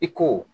I ko